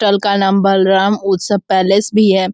टल का नाम बलराम उस्तव पैलेस भी है |